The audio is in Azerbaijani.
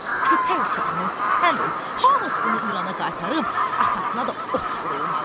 Köpək uşağının sən öl, hamısını İrana qaytarıb atasına da ot vurulmalıdır.